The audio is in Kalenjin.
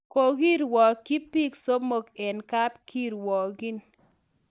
Kokirwokyi biik somok eng kap kirgokiin